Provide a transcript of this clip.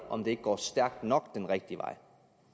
om det ikke går stærkt nok den rigtige vej